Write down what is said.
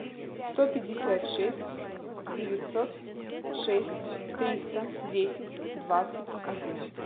сто пятьдесят шесть девятьсот шесть триста десять двадцать один